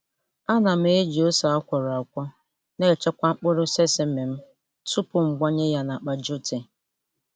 Ana m eji ose a kwọrọ akwọ na-echekwa mkpụrụ sesame m tupu m gbanye ya n'akpa jute.